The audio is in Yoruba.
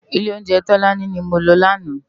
Ilé óunjè Tolani ni mó lò làná